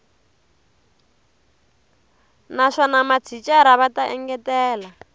naswona mathicara va ta engetela